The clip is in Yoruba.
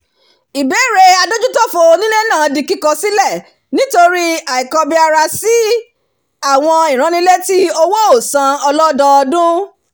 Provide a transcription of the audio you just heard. ìbéèrè adójútófò onílé náà di kíkọ̀ sílẹ̀ nítorí àìkọbiarasí àwọn ìránnilétí owóòsan ọlọ́dọọdún